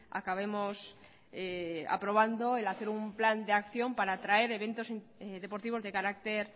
acabemos aprobando el hacer un plan de acción para traer eventos deportivos de carácter